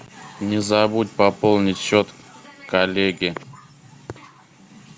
не забудь пополнить счет коллеге